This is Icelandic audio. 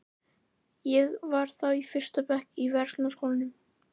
Ég var þá í fyrsta bekk í Verslunarskólanum.